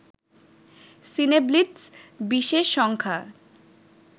সিনেব্লিটজ বিশেষ সংখ্যা